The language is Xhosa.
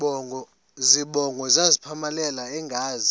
zibongo zazlphllmela engazi